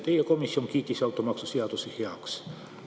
Teie komisjon kiitis automaksu seaduse heaks.